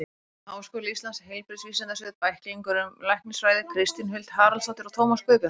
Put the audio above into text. Háskóli Íslands: Heilbrigðisvísindasvið- Bæklingur um læknisfræði Kristín Huld Haraldsdóttir og Tómas Guðbjartsson.